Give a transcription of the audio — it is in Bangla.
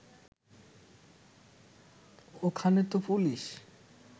ওখানে তো পুলিশ